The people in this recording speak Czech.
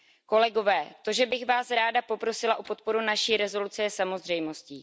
Kolegové, to, že bych Vás ráda poprosila o podporu naší rezoluce, je samozřejmostí.